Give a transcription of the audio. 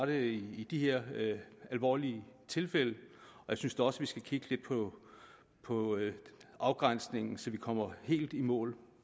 det i de her alvorlige tilfælde jeg synes da også at vi skal kigge lidt på afgrænsningen så vi kommer helt i mål